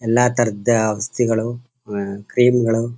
ಎಲ್ಲ ತರದ ಔಷಧಿಗಳು ಕ್ರೀಮ್ ಗಳು--